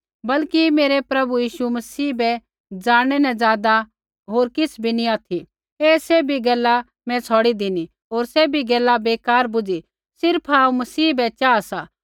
बल्कि मेरै प्रभु यीशु मसीह बै ज़ाणनै न ज़ादा होर किछ़ बी नी ऑथि ऐ सैभी गैला मैं छ़ौड़ी धिनी होर सैभी गैला बै बेकार बुझ़ी सिर्फ़ हांऊँ मसीह बै चाहा सा